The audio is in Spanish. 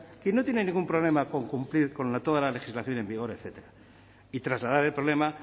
quien no tiene ningún problema con cumplir toda la legislación en vigor etcétera y trasladar el problema